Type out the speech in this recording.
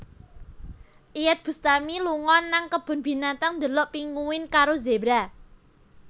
Iyeth Bustami lunga nang kebon binatang ndelok pinguin karo zebra